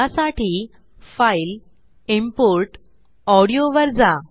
यासाठी फाइल जीटीजीटी इम्पोर्ट जीटीजीटी ऑडियो वर जा